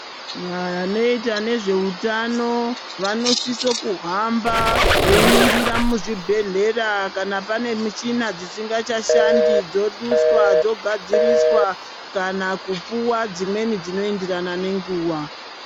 Vanoita nezvehutano vanosiso kuhamba veiningira muzvibhedhlera kana pane michina dzisingachashandi dzoduswa dzogadziriswa, kana kupuva dzimweni dzinoenderana nenguva.